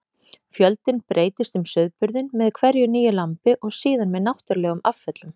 Fjöldinn breytist um sauðburðinn með hverju nýju lambi og síðan með náttúrulegum afföllum.